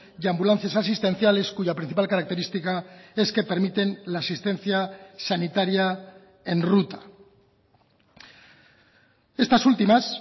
y ambulancias asistenciales cuya principal característica es que permiten la asistencia sanitaria en ruta estas últimas